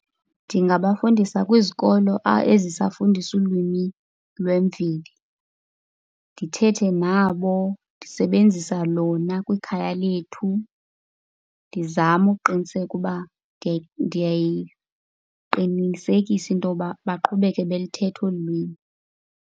Ndingabafundisa kwizikolo ezisafundisa ulwimi lwemveli, ndithethe nabo ndisebenzisa lona kwikhaya lethu, ndizame ukuqiniseka uba ndiyayiqinisekisa into yoba baqhubeke beluthetha olu lwimi.